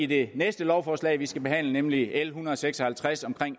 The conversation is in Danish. det næste lovforslag vi skal behandle nemlig l en hundrede og seks og halvtreds om